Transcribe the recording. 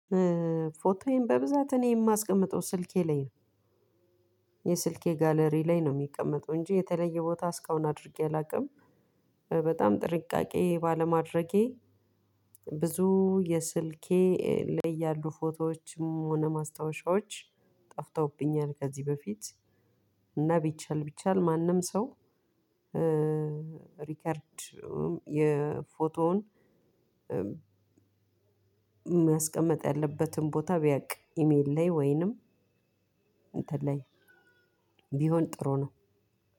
ፎቶዬን በብዛት እኔ የማስቀምጠው ስልኬ ላይ ነው የስልኬ ጋለሪ ላይ ነው የሚቀመጠው እንጂ የተለየ ቦታ እስካሁን አድርጌ አላውቅም። በጣም ጥንቃቄ ባለማድረጌ ብዙ የስልኬ ላይ ያሉ ፎቶዎችም ሆነ ማስታወሻዎች ጠፍተውብኛል ከዚህ በፊት እና ቢቻል ቢቻል ማንም ሰው ሪከርድ የፎቶውን የሚያስቀምጥ ያለበትን ቦታ ቢያውቅ ኢሜል ላይ ወይንም እንትን ላይ ቢሆን ጥሩ ነው።